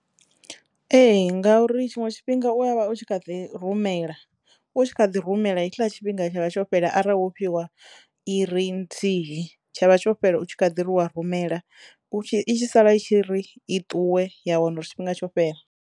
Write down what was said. Ee ngauri tshiṅwe tshifhinga u ya vha u tshi kha ḓi rumela u tshi kha ḓi rumela hetshiḽa tshifhinga tsha vha tsho fhela arali wo fhiwa iri nthihi tsha vha tsho fhela u tshi kha ḓiri u wa rumela u tshi i tshi sala i tshi ri i ṱuwe ya wano uri tshifhinga tsho fhela.